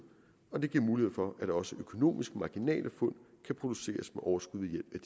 og det giver mulighed for at også økonomisk marginale fund kan produceres med overskud ved